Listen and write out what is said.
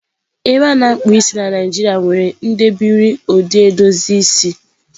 Ebe a na-akpụ isi na Nijiria nwere ndebiri ụdị edozi isi.